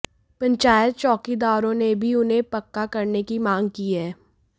पंचायत चौकीदारों ने भी उन्हें पक्का करने की मांग की हैं